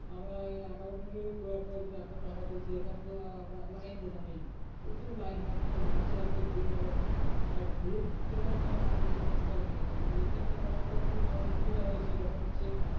আমরা account টা করার পর যদি একশো টাকা তুলতে যেতাম তো আমরা line দিতাম বুঝলি। প্রচুর line থাকতো মানুষের এত ভিড় এবার ভিড় পেতাম না রাত লেগে যেত সন্ধ্যা লেগে যেত। ATM টা করার পর খুব মানুষের সুবিধা হয়েছে যখন ইচ্ছে